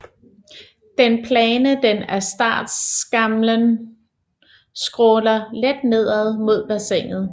Den plane den af startskamlen skråner let nedad mod bassinet